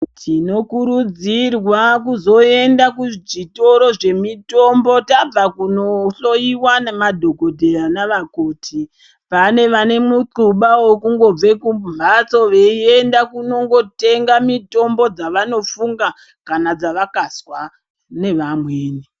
Tinokurudzirwa kuzoenda kuzvitoro zvemitombo tabva kunohloyiwa nemadhogodheya navakoti, paanevanemiquba yokungobve kumhatso beyiyenda kunongotenga mitombo dzavanofunga kana dzavakazwa nevamwe.